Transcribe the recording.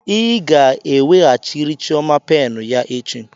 Ị ga-eweghachiri chioma penụ ya echi.